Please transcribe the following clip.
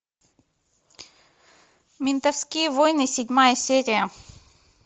ментовские войны седьмая серия